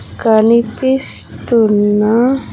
కనిపిస్తున్నా.